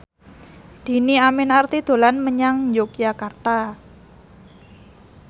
Dhini Aminarti dolan menyang Yogyakarta